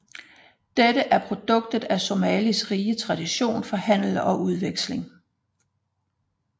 Det er produktet af Somalias rige tradition for handel og udveksling